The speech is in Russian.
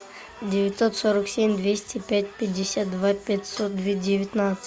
девятьсот сорок семь двести пять пятьдесят два пятьсот девятнадцать